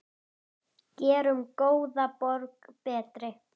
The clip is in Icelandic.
Gerum góða borg betri.